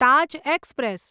Taj express